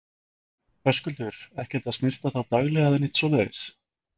Höskuldur: Ekkert að snyrta þá daglega eða neitt svoleiðis?